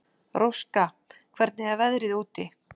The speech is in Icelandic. Róska, hvernig er veðrið úti?